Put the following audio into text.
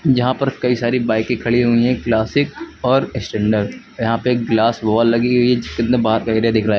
जहां पर कई सारी बाईकें खड़ी हुई हैं क्लासिक और स्टैंडर्ड यहां पे एक ग्लास वॉल लगी हुई जिसके अंदर बाहर का एरिया दिख रहा है।